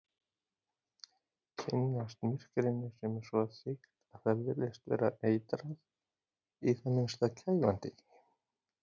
Kynnast myrkrinu sem er svo þykkt að það virðist vera eitrað, í það minnsta kæfandi.